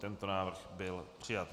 Tento návrh byl přijat.